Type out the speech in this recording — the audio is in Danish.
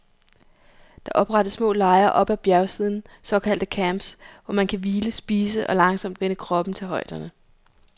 Der oprettes små lejre op ad bjergsiden, såkaldte camps, hvor man kan hvile, spise og langsomt vænne kroppen til højderne.